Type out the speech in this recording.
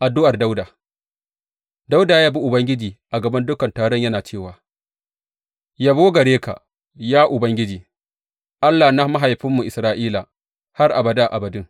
Addu’ar Dawuda Dawuda ya yabi Ubangiji a gaban dukan taron, yana cewa, Yabo gare ka, ya Ubangiji, Allah na mahaifinmu Isra’ila, har abada abadin.